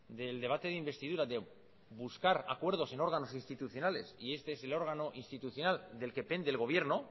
del debate de investidura de buscar acuerdos en órganos institucionales y este es el órgano institucional del que pende el gobierno